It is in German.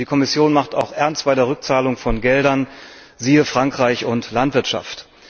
Die Kommission macht auch Ernst bei der Rückzahlung von Geldern, siehe Frankreich und Landwirtschaft.